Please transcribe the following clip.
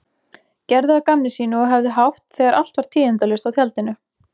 Gerðu að gamni sínu og höfðu hátt þegar allt var tíðindalaust á tjaldinu.